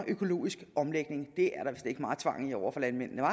økologisk omlægning det er der vist ikke meget tvang i over for landmændene